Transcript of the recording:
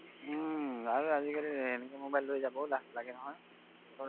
উম আজিকালি এনেকুৱা mobile লৈ যাবও লাজ লাগে নহয়